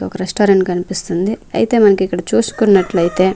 ఒక రెస్టారెంట్ కనిపిస్తుంది అయితే మనకిక్కడ చూసుకున్నట్లైతే--